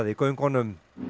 í göngunum